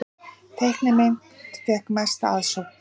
Teiknimynd fékk mesta aðsókn